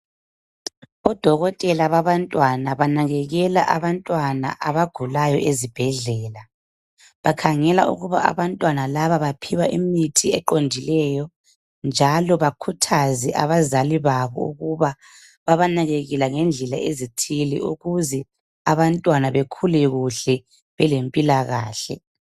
Odokotela babantwana banakekela abantwana abagulayo ezibhedlela bakhangela ukuba abantwana laba baphiwa imithi eqondileyo njalo bakhuthaze abazali babo ukuba babanakekele ngendlela ezithile ukuze abantwana bakhule kuhle belampilakahle.